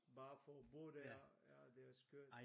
Bare for at bo der ja det er skørt